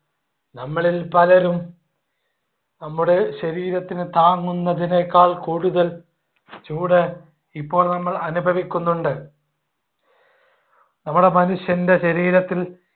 നമ്മളിൽ പലരു നമ്മുടെ ശരീരത്തിന് താങ്ങുന്നതിനേക്കാൾ കൂടുതല്‍ ചൂട് ഇപ്പോൾ നമ്മൾ അനുഭവിക്കുന്നുണ്ട് നമ്മുടെ മനുഷ്യന് ശരീരത്തിൽ